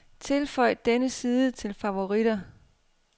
Tilføj denne side til favoritter.